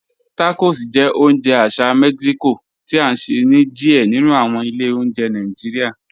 Tacos jẹ́ ọ̀unje àṣà Mexico ti a nṣẹ ni díẹ̀ nínu awọn ilẹ̀ ọ̀njẹ̀ Nàìjíríà.